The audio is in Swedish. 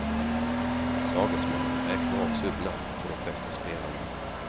Sagesmannen räknar också upp namnen på de flesta spelarna.